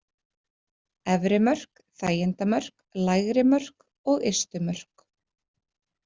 Efri mörk, þægindamörk, lægri mörk og ystu mörk.